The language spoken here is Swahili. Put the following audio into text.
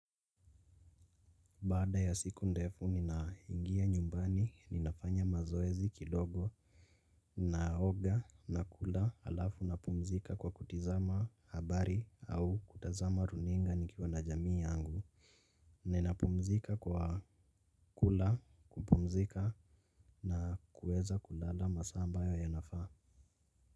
Baada ya siku ndefu ninaingia nyumbani ninafanya mazoezi kidogo. Ninaoga na kula alafu napumzika kwa kutizama habari au kutazama runinga nikiwa na jamii yangu. Ninapumzika kwa kula kupumzika na kuweza kulala masaa ambayo yanafaa.